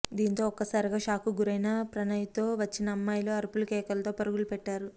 దీంతో ఒక్కసారిగా షాక్కు గురైన ప్రణయ్తో వచ్చిన అమ్మాయిలు అరుపులు కేకలతో పరుగులు పెట్టారు